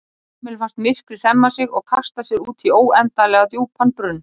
Kamillu fannst myrkrið hremma sig og kasta sér út í óendanlega djúpan brunn.